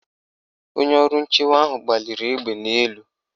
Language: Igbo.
Onye ọrụ nchewa ahụ gbaliri egbe n' elu.